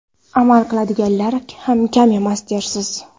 Amal qiladiganlar ham kam emas dersiz.